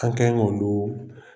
Ka kɛn k'o do